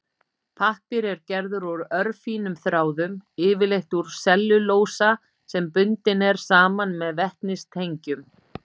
Pappír er gerður úr örfínum þráðum, yfirleitt úr sellulósa sem bundinn er saman með vetnistengjum.